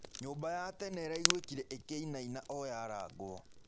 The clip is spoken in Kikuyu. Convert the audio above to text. Nyũmba ya tene ĩraĩgũĩkĩre ĩkĩĩnaĩna o yarangwo